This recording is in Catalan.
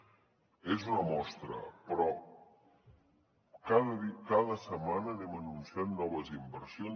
n’és una mostra però cada setmana anem anunciant noves inversions